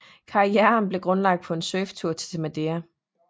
Karrieren blev grundlagt på en surftur til Madeira